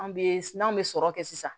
An bɛ n'an bɛ sɔrɔ kɛ sisan